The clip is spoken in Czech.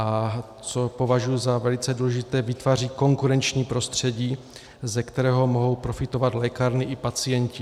A co považuji za velice důležité, vytváří konkurenční prostředí, ze kterého mohou profitovat lékárny i pacienti.